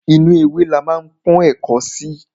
Inú ewé la ma ń pọ́n ẹ̀ko sí.